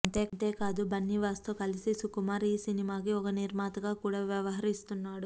అంతేకాదు బన్నీవాసుతో కలిసి సుకుమార్ ఈ సినిమాకి ఒక నిర్మాతగా కూడా వ్యవహరిస్తున్నాడు